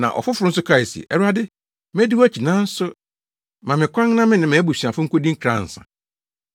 Na ɔfoforo nso kae se, “Awurade, medi wʼakyi nanso ma me kwan na me ne mʼabusuafo nkodi nkra ansa.”